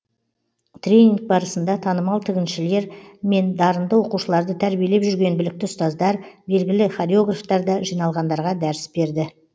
тренинг барысында танымал тігіншілер мен дарынды оқушыларды тәрбиелеп жүрген білікті ұстаздар белгілі хореографтар да жиналғандарға дәріс берді